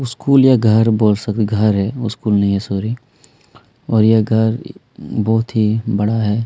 School या घर बोल सक घर है स्कूल नहीं है सॉरी और यह घर बहुत ही बड़ा है।